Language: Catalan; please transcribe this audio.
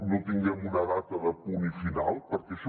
no tinguem una data de punt final perquè això